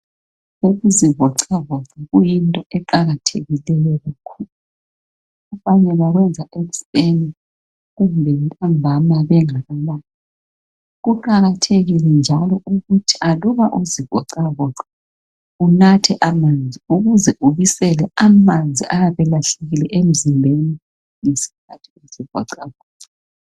Ukuzivoxavoxa kuyinto eqakathekileyo kakhulu abanye bakwenza ekuseni kumbe ntambama bengakalali. Kuqakathekile njalo ukuthi aluba uzivoxavoxa unathe amanzi ukuze ubisele amanzi ayabe elahlekile emzimbeni ngesikhathi uzivoxavoxa.